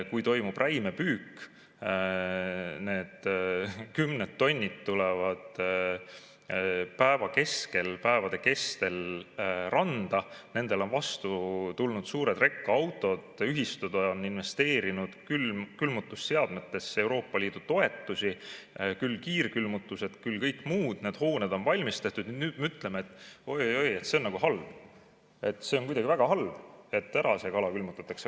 Kui toimub räimepüük, kümned tonnid tulevad päevade kestel randa, siis nendele on vastu tulnud suured rekad, ühistud on investeerinud külmutusseadmetesse Euroopa Liidu toetusi, küll kiirkülmutusse ja kõikjale mujale, need hooned on valmis tehtud, ja nüüd me ütleme, et oi-oi, see on halb, see on väga halb, et see kala ära külmutatakse.